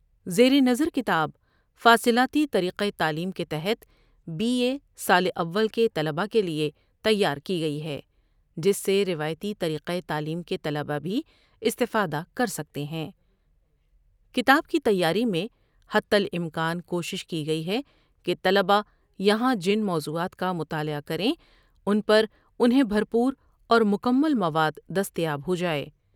زیرنظر کتاب فاصلاتی طریقہ تعلیم کے تحت بی اے سال اول کے طلبہ کے لیے تیار کی گٮٔی ہے جس سے روایتی طریقہ تعلیم کے طلبہ بھی استفادہ کر سکتے ہیں۔ کتاب کی تیاری میں حتی الامکان کوشش کی گٮٔی ہے کہ طلبہ یہاں جن موضوعات کا مطالعہ کریں ان پر انہیں بھر پوراور مکمل مواد دستیاب ہو جا ٮٔے۔